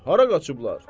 Hara qaçıblar?